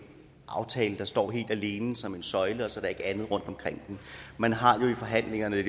aftale der står helt alene som en søjle og så er der ikke andet rundtomkring den man har jo i forhandlingerne